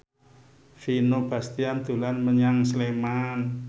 Vino Bastian dolan menyang Sleman